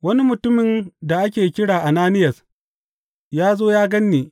Wani mutumin da ake kira Ananiyas ya zo ya gan ni.